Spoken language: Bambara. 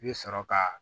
I bɛ sɔrɔ ka